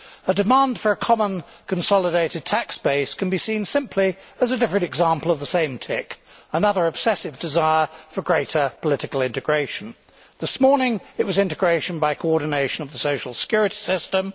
A demand for a common consolidated tax base can be seen simply as a different example of the same tic, another obsessive desire for greater political integration. This morning, it was integration by coordination of the social security system